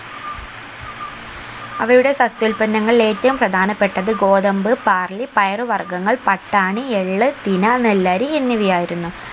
അവയുടെ സസ്യോല്പന്നങ്ങളിൽ ഏറ്റവും പ്രധപ്പെട്ടത് ഗോതമ്പ് ബാർലി പയറ് വർഗ്ഗങ്ങൾ പട്ടാണി എള്ള് തിന നെല്ലരി എന്നിവയായിരുന്നു